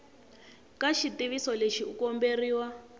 ka xitiviso lexi u komberiwa